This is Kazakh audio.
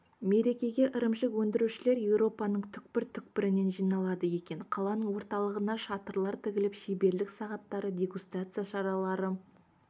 мерекеге ірімшік өндірушілер еуропаның түпкір-түпкірінен жиналады екен қаланың орталығына шатырлар тігіліп шеберлік сағаттары дегустация шаралары